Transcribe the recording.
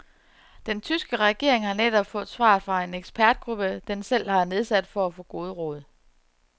Den tyske regering har netop fået svar fra en ekspertgruppe, den selv har nedsat for at få gode råd.